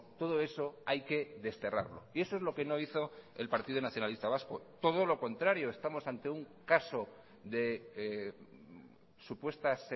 todo eso hay que desterrarlo y eso es lo que no hizo el partido nacionalista vasco todo lo contrario estamos ante un caso de supuestas